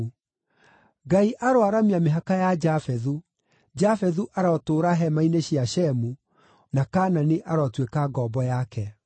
Ngai aroaramia mĩhaka ya Jafethu; Jafethu arotũũra hema-inĩ cia Shemu, na Kaanani arotuĩka ngombo yake.”